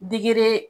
Digi